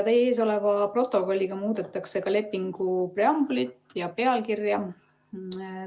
Teie ees oleva protokolliga muudetakse ka lepingu preambulit ja pealkirja.